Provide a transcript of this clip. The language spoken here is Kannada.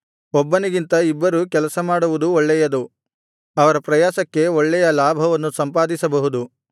ಒಬ್ಬನಿಗಿಂತ ಇಬ್ಬರು ಕೆಲಸ ಮಾಡುವುದು ಒಳ್ಳೆಯದು ಅವರ ಪ್ರಯಾಸಕ್ಕೆ ಒಳ್ಳೆಯ ಲಾಭವನ್ನು ಸಂಪಾದಿಸಬಹುದು